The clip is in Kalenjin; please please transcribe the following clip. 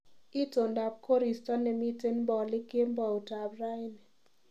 Itondap koristo nemiten bolik kemboutab raini